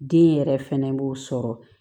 Den yɛrɛ fɛnɛ b'o sɔrɔ